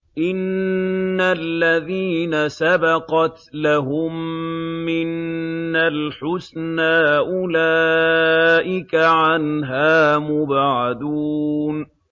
إِنَّ الَّذِينَ سَبَقَتْ لَهُم مِّنَّا الْحُسْنَىٰ أُولَٰئِكَ عَنْهَا مُبْعَدُونَ